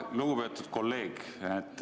Lugupeetud kolleeg!